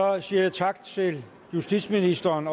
siger jeg tak til justitsministeren